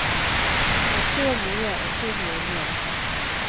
Han ser mye og tilgir mer.